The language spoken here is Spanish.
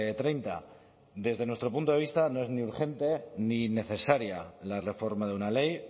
treinta desde nuestro punto de vista no es ni urgente ni necesaria la reforma de una ley